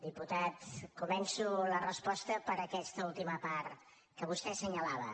diputat començo la resposta per aquesta última part que vostè assenyalava